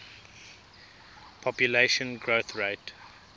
population growth rate